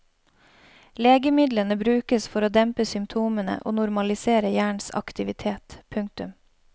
Legemidlene brukes for å dempe symptomene og normalisere hjernens aktivitet. punktum